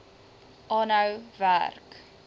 aanhou werk